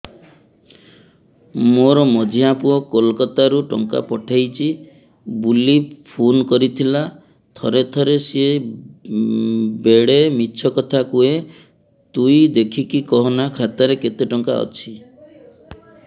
ମୋର ମଝିଆ ପୁଅ କୋଲକତା ରୁ ଟଙ୍କା ପଠେଇଚି ବୁଲି ଫୁନ କରିଥିଲା ଥରେ ଥରେ ସିଏ ବେଡେ ମିଛ କଥା କୁହେ ତୁଇ ଦେଖିକି କହନା ଖାତାରେ କେତ ଟଙ୍କା ଅଛି